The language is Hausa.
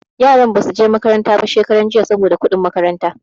Yaran ba su je makaranta ba shekaran jiya saboda kuɗin makaranta.